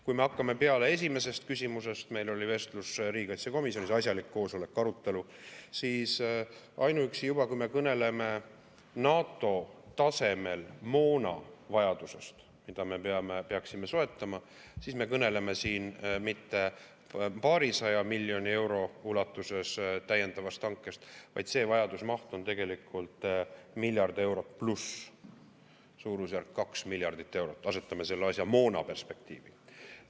Kui me hakkame peale esimesest küsimusest, meil oli vestlus riigikaitsekomisjonis, asjalik koosolek, arutelu, siis ainuüksi juba see, kui me kõneleme NATO tasemel moona vajadusest, mida me peaksime soetama, siis me kõneleme siin mitte paarisaja miljoni euro ulatuses täiendavast hankest, vaid see vajaduse maht on tegelikult miljard eurot pluss, suurusjärk 2 miljardit eurot – asetame selle asja moona perspektiivi.